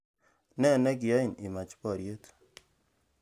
Nene kiain imach boriet